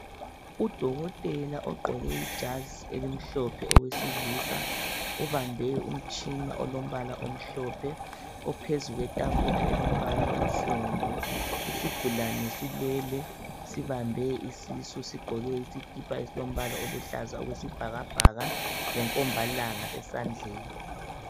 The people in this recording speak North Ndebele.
Udokotela ogqoke ijazi elimhlophe owesilisa ubambe umtshina olombala omhlophe ophezu kwetafula elombala onsundu. Isigulane silele sibambe isisu sigqoke isikipa esilombala oluhlaza okwesibhakabhaka lenkombalanga esandleni.